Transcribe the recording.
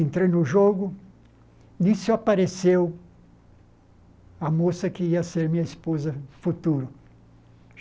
Entrei no jogo nisso apareceu a moça que ia ser minha esposa no futuro.